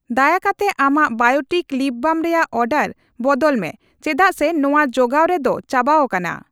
ᱫᱟᱭᱟ ᱠᱟᱛᱮ ᱟᱢᱟᱜ ᱵᱟᱭᱚᱴᱤᱠ ᱞᱤᱯ ᱵᱟᱢ ᱨᱮᱭᱟᱜ ᱚᱨᱰᱟᱨ ᱵᱚᱫᱚᱞ ᱢᱮ ᱪᱮᱫᱟᱜ ᱥᱮ ᱱᱚᱣᱟ ᱡᱚᱜᱟᱣ ᱨᱮ ᱫᱚ ᱪᱟᱵᱟᱣᱟᱠᱟᱱᱟ ᱾